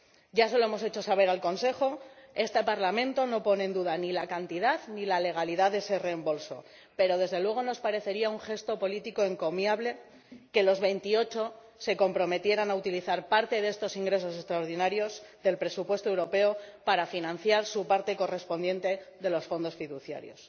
Ya se lo hemos hecho saber al Consejo este Parlamento no pone en duda ni la cantidad ni la legalidad de ese reembolso pero, desde luego, nos parecería un gesto político encomiable que los 28 se comprometieran a utilizar parte de estos ingresos extraordinarios del presupuesto europeo para financiar su parte correspondiente de los fondos fiduciarios.